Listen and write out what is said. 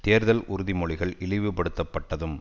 தேர்தல் உறுதி மொழிகள் இழிவு படுத்தப்பட்டதும்